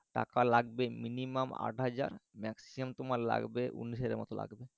টাকা লাগবে minimum আট হাজার maximum তোমার লাগবে উনিশ হাজার মত লাগবে